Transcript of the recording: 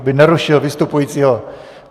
Aby nerušil vystupujícího.